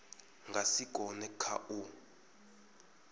nga si kone kha u